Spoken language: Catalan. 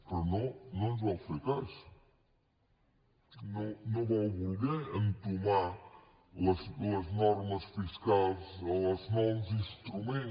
però no no ens vau fer cas no vau voler entomar les normes fiscals els nous instruments